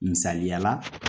Misaliyala